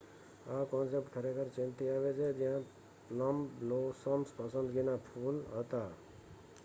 આ કોન્સૈપ્ટ ખરેખર ચીનથી આવી છે જ્યાં પ્લમ બ્લોસમ્સ પસંદગીના ફૂલ હતા